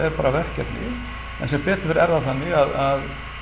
bara verkefni en sem betur fer er það þannig að